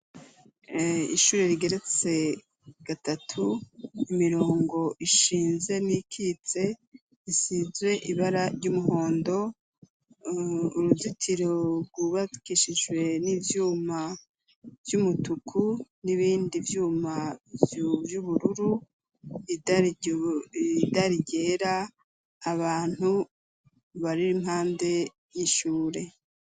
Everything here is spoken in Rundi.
Ishure rigeretse gatatu imirongo ishinze n'ikitse isizwe ibara ry'umuhondo uruzitiro rwubakishijwe n'ivyuma vy'umutuku n'ibindi vyuma vy'ubururu idari ryera abantu bariri impande y'ishure.